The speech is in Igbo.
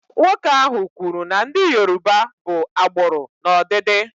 Nwoke ahụ kwuru na ndị Yoruba bụ agbụrụ n'ọdịdị.